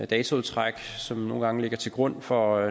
dataudtræk som nogle gange ligger til grund for